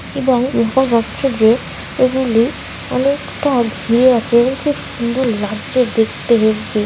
এবং উপর এগুলি অনেকটা সুন্দর লাগছে দেখতে হেব্বি।